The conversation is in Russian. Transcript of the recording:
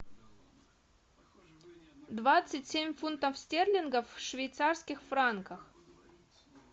двадцать семь фунтов стерлингов в швейцарских франках